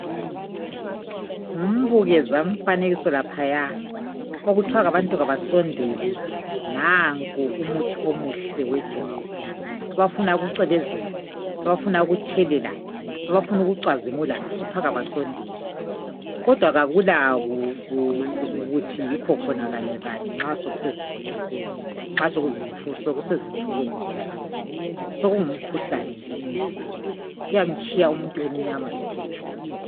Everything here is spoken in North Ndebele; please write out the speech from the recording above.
Ngumbukezamfanekiso laphaya, okuthwa abantu kabasondele. Nanko umuthi omuhle wejwabu, abafuna ukucwebezela, abafuna ukutshelela, abafuna ukucwazimula, kuthwa kabasondele. Kodwa kakula kuthi yikho khona kanyekanye nxa sekusezimbodleleni, sekusezimfukweni zonalezi, sokungumkhuhlane nje emzimbeni, kuyamtshiya umuntu emnyama ethe tshu.